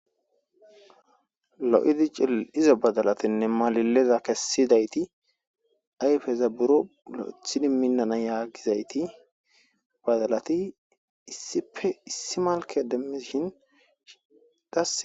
Lo'idi cil izo badalatinne maalileza kessidayti ayfeza buro lo'ethidi minnana yaagizayti badalati issipe issi malke demishin idaa